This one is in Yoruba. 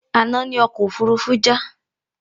Àna ní ọkọ òfurufú já